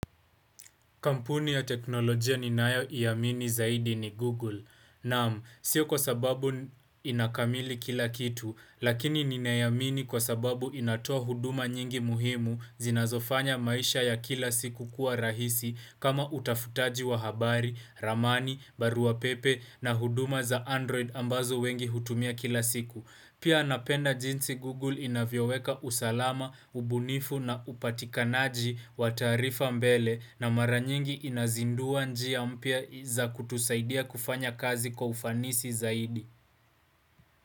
Kampuni ya teknolojia ninayo iamini zaidi ni Google. Naam, sio kwa sababu ina kamili kila kitu, lakini ninaiamini kwa sababu inatoa huduma nyingi muhimu zinazofanya maisha ya kila siku kuwa rahisi kama utafutaji wa habari, ramani, baruapepe na huduma za Android ambazo wengi hutumia kila siku. Pia napenda jinsi Google inavyoweka usalama, ubunifu na upatikanaji wa taarifa mbele na maranyingi inazindua njia mpya za kutusaidia kufanya kazi kwa ufanisi zaidi.